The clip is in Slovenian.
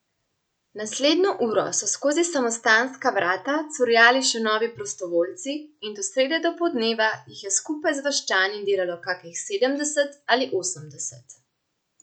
Naslednjo uro so skozi samostanska vrata curljali še novi prostovoljci in do srede dopoldneva jih je skupaj z vaščani delalo kakih sedemdeset ali osemdeset.